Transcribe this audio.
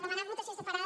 demanar votació separada